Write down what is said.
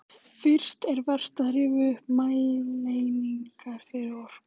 Fyrst er vert að rifja upp mælieiningar fyrir orku.